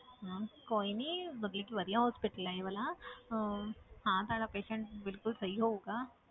ਹਾਂ ਕੋਈ ਨੀ ਵਧੀਆ ਤੋਂ ਵਧੀਆ hospital ਹੈ ਇਹ ਵਾਲਾ ਅਹ ਹਾਂ ਤੁਹਾਡਾ patient ਬਿਲਕੁਲ ਸਹੀ ਹੋਊਗਾ